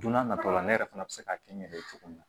Don n'a nataw la ne yɛrɛ fana bɛ se k'a kɛ n yɛrɛ ye cogo min na